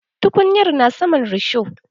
Tukunyar na saman risho.